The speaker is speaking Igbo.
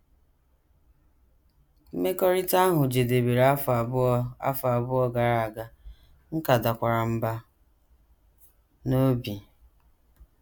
Mmekọrịta ahụ jedebere afọ abụọ afọ abụọ gara aga, m ka dakwara mbà n’obi. ”